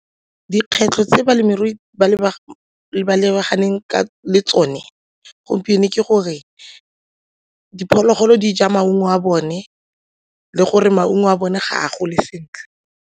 Dikgwetlho tse balemirui ba lebaganeng ka tsone gompieno ke gore diphologolo di ja maungo a bone le gore maungo a bone ga a gole sentle.